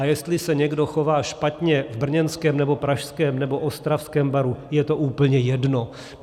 A jestli se někdo chová špatně v brněnském, nebo pražském, nebo ostravském baru, je to úplně jedno.